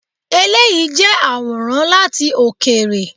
Eléyìí jẹ́ àwòrán láti òkèèrè.